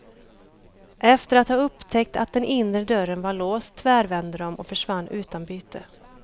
Efter att ha upptäckt att den inre dörren var låst tvärvände de och försvann utan byte.